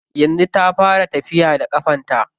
Yanzu ta fara tafiya da ƙafarta.